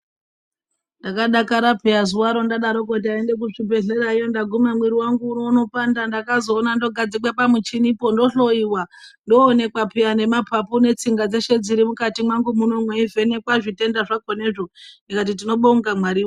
Ndakadakara piya zuwaro ndadaroko ndaenda kuzv ibhedhlerayo ndaguma mwiri wangu unopanda. Ndakazoona ndogadzikwe pamuchinipo ndohloiwa ndooneka piya nemapapu netsvinga dzeshe dziri mukati mwangu muno mweivhenekwe zvitenda zvako nezvi mweniwo ndikati tinobonga Mwari .